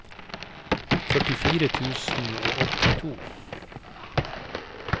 førtifire tusen og åttito